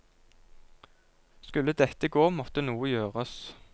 Skulle dette gå, måtte noe gjøres.